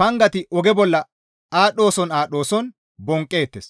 pangati oge bolla aadhdhooson aadhdhooson bonqqeettes.